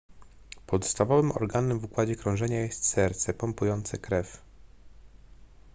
podstawowym organem w układzie krążenia jest serce pompujące krew